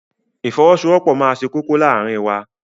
Ìfọwọ́sowọ́pọ̀ máa ṣe kókó láàárín wa.